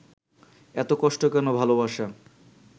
এত কষ্ট কেন ভালোবাসা?